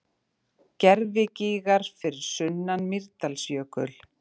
Gervigígar fyrir sunnan Mýrdalsjökul.